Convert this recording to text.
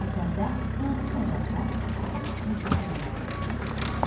Əsərdə hansı məqamlar əsas fikrin çatdırılmasına xidmət eləyir?